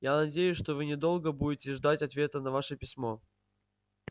я надеюсь что вы недолго будете ждать ответа на ваше письмо